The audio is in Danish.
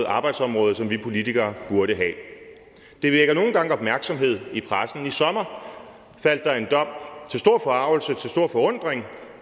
arbejdsområde som vi politikere burde have det vækker nogle gange opmærksomhed i pressen i sommer faldt der en dom til stor forargelse og til stor forundring for